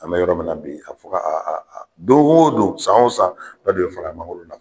An bɛ yɔrɔ min na bi a fɔ ka don o don san o san dɔ bɛ fara mangoro